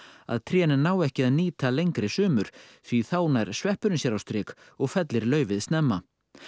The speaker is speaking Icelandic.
að trén ná ekki að nýta lengri sumur því þá nær sveppurinn sér á strik og fellir laufið snemma